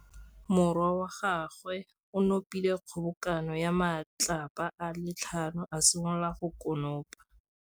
Morwa wa gagwe o nopile kgobokanô ya matlapa a le tlhano, a simolola go konopa.